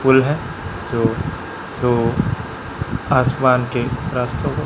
pool है जो तो आसमान के रातों को--